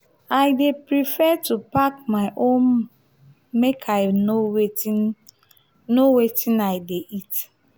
i dey prefer to pack my own make i know wetin know wetin i dey eat.